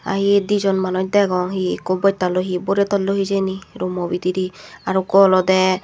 ahi dijon manuj degong he ikko bottaloi he borey talloi hijeni rumo bidirey aro ukko olodey.